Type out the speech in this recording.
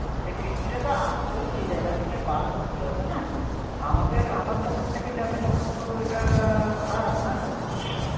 সেই কিস্তি টাতো আমাকেও সেই জায়গা থেকে বার করতে হবে না, আমাকে আমার pocket থেকে যাবে তখনতো এটা খারাপ তাই না